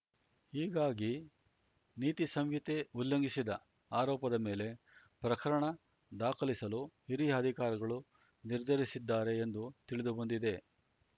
ಹೀಗಾಗಿ ನೀತಿ ಸಂಹಿತೆ ಉಲ್ಲಂಘಿಸಿದ ಆರೋಪದ ಮೇಲೆ ಪ್ರಕರಣ ದಾಖಲಿಸಲು ಹಿರಿಯ ಅಧಿಕಾರಿಗಳು ನಿರ್ಧರಿಸಿದ್ದಾರೆ ಎಂದು ತಿಳಿದುಬಂದಿದೆ